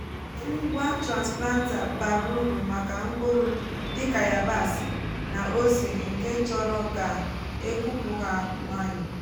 ngwa transplanter bara uru maka mkpụrụ dịka yabasị na ose nke chọrọ ka e kụpụ ha nwayọ.